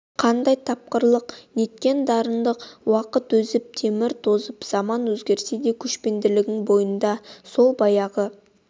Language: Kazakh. қандай тапқырлық неткен дарқандық уақыт озып темір тозып заман өзгерсе де көшпендінің бойындағы сол баяғы